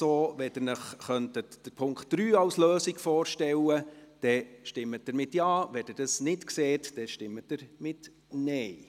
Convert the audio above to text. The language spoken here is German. Wenn Sie sich den Punkt 3 als Lösung vorstellen könnten, dann stimmen Sie Ja, wenn Sie dies nicht so sehen, stimmen Sie Nein.